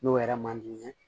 N'o yɛrɛ man di n ye